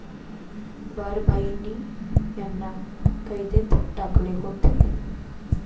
बारभाईंनी याला कैदेत टाकले होते.